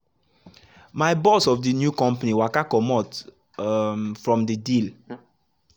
my boss of the new company waka comot um from the deal.